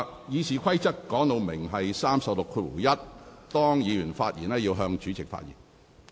《議事規則》第361條訂明，議員發言時須向主席發言。